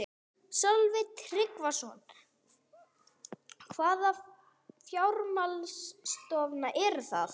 Sölvi Tryggvason: Hvaða fjármálastofnanir eru það?